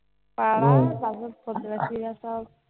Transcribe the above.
পাড়া। তারপর প্রতিবেশীরা সব